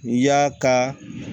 Y'a ka